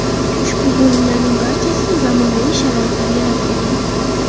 Ushbu bo‘limlarning barchasida zamonaviy sharoitlar yaratilgan.